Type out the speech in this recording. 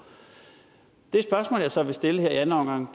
det spørgsmål jeg så vil stille her i anden omgang